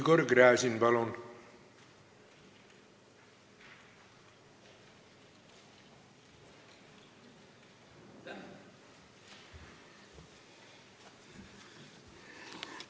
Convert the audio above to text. Igor Gräzin, palun!